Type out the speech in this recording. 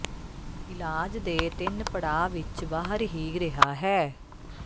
ਇਲਾਜ ਦੇ ਤਿੰਨ ਪੜਾਅ ਵਿੱਚ ਬਾਹਰ ਹੀ ਰਿਹਾ ਹੈ